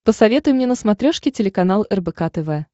посоветуй мне на смотрешке телеканал рбк тв